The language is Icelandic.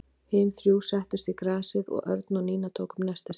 Hin þrjú settust í grasið og Örn og Nína tóku upp nestið sitt.